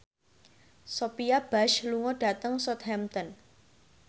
Sophia Bush lunga dhateng Southampton